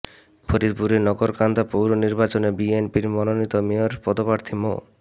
ফরিদপুরের নগরকান্দা পৌর নির্বাচনে বিএনপির মনোনীত মেয়র পদপ্রার্থী মো